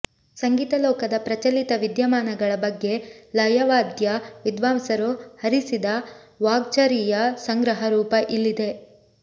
ಸಂಗೀತ ಲೋಕದ ಪ್ರಚಲಿತ ವಿದ್ಯಮಾನಗಳ ಬಗ್ಗೆ ಲಯವಾದ್ಯ ವಿದ್ವಾಂಸರು ಹರಿಸಿದ ವಾಗ್ಝರಿಯ ಸಂಗ್ರಹ ರೂಪ ಇಲ್ಲಿದೆ